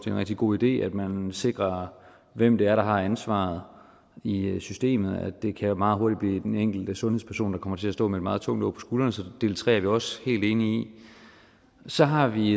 en rigtig god idé at man sikrer hvem det er der har ansvaret i systemet det kan meget hurtigt blive den enkelte sundhedsperson der kommer til at stå med et meget tungt åg på skuldrene så del tre er vi også helt enige i så har vi